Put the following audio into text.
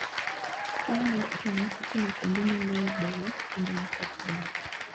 Keyo mar cham itimo kuonde ma lowo beyo kendo ma koth ber.